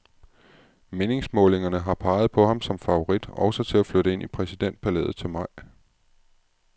Meningsmålingerne har peget på ham som favorit også til at flytte ind i præsidentpalæet til maj.